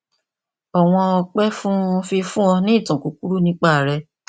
ọwọn ọpẹ fún fífún ọ ní ìtàn kúkúrú nípa rẹ